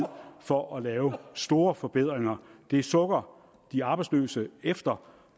for at lave store forbedringer det sukker de arbejdsløse efter